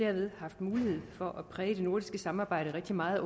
derved haft mulighed for at præge det nordiske samarbejde rigtig meget